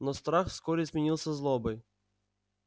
но страх вскоре сменился злобой